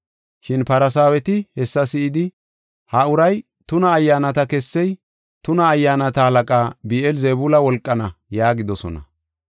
Shin Farsaaweti hessa si7idi, “Ha uray tuna ayyaanata kessey tuna ayyaanata halaqa Bi7eel-Zebuula wolqaana” yaagidosona.